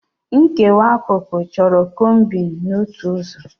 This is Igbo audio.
Nkewa akụkụ chọrọ combing n'otu ụzọ.